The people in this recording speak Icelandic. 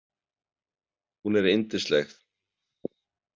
Hún er yndisleg.